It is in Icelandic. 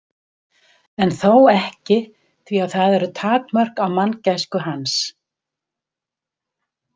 En þó ekki því að það eru takmörk á manngæsku hans.